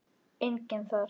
Enginn þar.